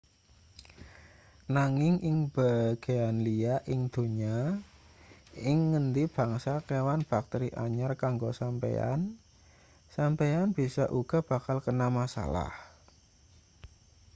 nanging ing bagean liya ing donya ing ngendi bangsa kewan bakteri anyar kanggo sampeyan sampeyan bisa uga bakal kena masalah